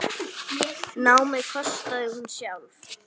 Námið kostaði hún sjálf.